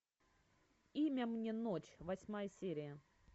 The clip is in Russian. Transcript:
имя мне ночь восьмая серия